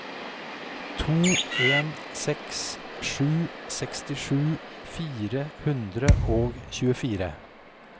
to en seks sju sekstisju fire hundre og tjuefire